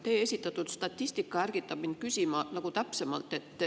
Teie esitatud statistika ärgitab mind küsima täpsemalt.